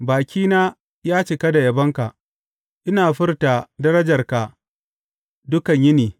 Bakina ya cika da yabonka, ina furta darajarka dukan yini.